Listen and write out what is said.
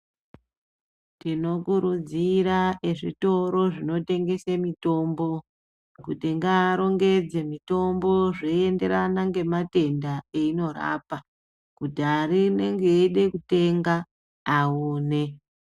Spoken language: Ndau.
Tinokurudzira ezvitoro zvinotengesa mitombo, kuti ngaarongedze mitombo zveyienderana nematenda eyinorapa kuti anenge eyida kutenga awone.